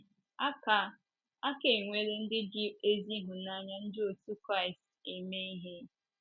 Ee, a ka, a ka nwere ndị ji ezi ịhụnanya Ndị otú Kraịst éme ịhe.